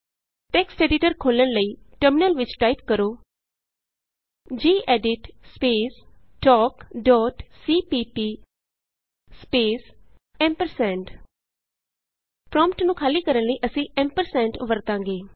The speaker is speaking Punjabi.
ਟੈਕਸਟ ਐਡੀਟਰ ਖੋਲ੍ਹਣ ਲਈ ਟਰਮਿਨਲ ਵਿਚ ਟਾਈਪ ਕਰੋ gedit space talk dot cpp space ampersand prompt ਨੂੰ ਖਾਲੀ ਕਰਨ ਲਈ ਅਸੀਂ ਵਰਤਾਂਗੇ